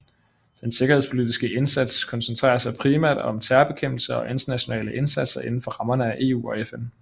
Den sikkerhedspolitiske indsats koncentrerer sig primært om terrorbekæmpelse og internationale indsatser inden for rammerne af EU og FN